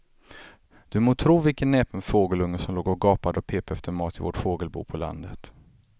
Du må tro vilken näpen fågelunge som låg och gapade och pep efter mat i vårt fågelbo på landet.